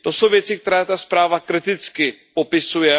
To jsou věci, které ta zpráva kriticky popisuje.